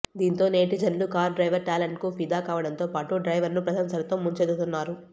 దీంతో నెటిజన్లు car driver talent కు ఫిదా కావడంతో పాటు డ్రైవర్ ను ప్రశంసలతో ముంచెత్తుతున్నారు